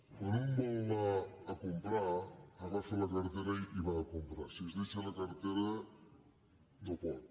per alprar agafa la cartera i va a comprar si es deixa la cartera no pot